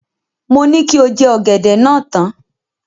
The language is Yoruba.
Mo ní kí o jẹ ọ̀gẹ̀dẹ̀ náà tán.